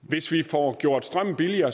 hvis vi får gjort strømmen billigere